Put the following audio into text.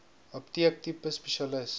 apteek tipe spesialis